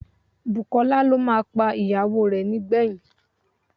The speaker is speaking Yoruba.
Bùkọ́lá ló máa pa ìyàwó rẹ̀ nígbẹ̀yìn